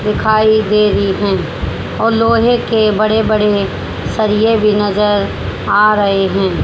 दिखाई दे रही हैं और लोहे के बड़े बड़े सरिये भी नजर आ रहे हैं।